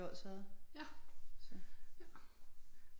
Odsherred så